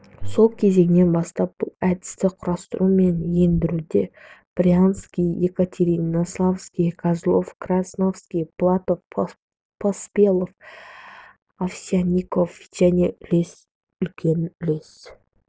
сол кезеңнен бастап бұл әдісті құрастыру мен ендіруде брянский екатеринославский козлова красовский платов поспелов овсянников және үлкен үлес